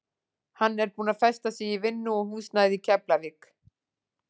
Hann er búinn að festa sig í vinnu og húsnæði í Keflavík.